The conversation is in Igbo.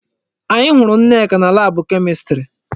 Anyị hụrụ Nneka na laabụ Kemistri.